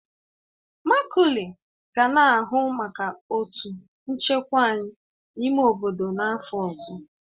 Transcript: Maculey ga na-ahụ maka otu nchekwa anyị n'ime obodo n'afọ ọzọ